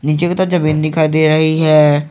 नीचे की तो जमीन दिखाई दे रही हैं।